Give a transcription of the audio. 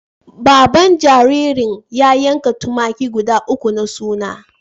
Baban jaririn ya yanka tumaki guda uku na suna.